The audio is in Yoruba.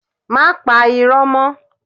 Má pa iro mó.